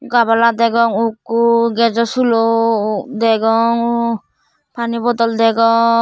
gabala degong ukko gejo sulo degong pani bodol degong.